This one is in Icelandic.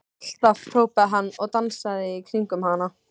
Alltaf! hrópaði hann og dansaði í kringum hana.